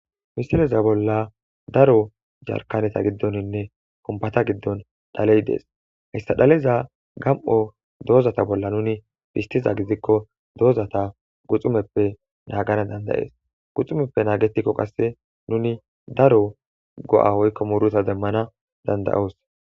Misileza bolla daro jarkaneta giddoninne kompata giddon dhaley dees hissa dhaleza gam'o doozata bolla nuni bistiza gidikko doozata guxumeppe naagana dandayees guxumeppe naagetikko qasse nuni daro go'a hoykko muruta demmana dandayoos.